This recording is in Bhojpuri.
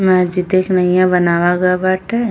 मस्जिदीया के नईया बनाव बाटे।